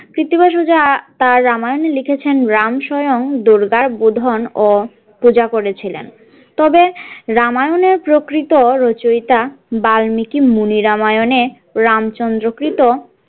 কৃত্তিবাস ওঝা তার রামায়ণে লিখেছেন রাম স্বয়ং দূর্গার বোধন ও পূজা করেছিলেন তবে রামায়ণের প্রকৃত রচয়িতা বাল্মিকী মুনি রামায়ণে রামচন্দ্র কৃত।